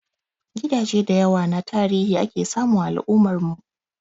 Gidaje da yawa na tarihi ake samu a al'ummar mu